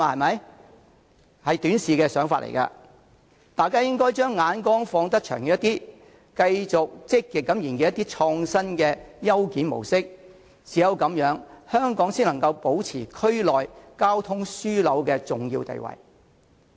這是短視的想法，大家應該將眼光放遠些，繼續積極研究創新的優檢模式，唯有這樣，香港才能保持區內交通樞紐的重要地位。